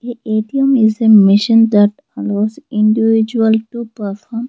A A_T_M is a machine that lots individual to perform.